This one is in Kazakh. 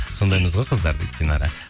сондаймыз ғой қыздар дейді динара